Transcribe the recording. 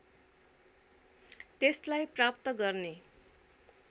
त्यसलाई प्राप्त गर्ने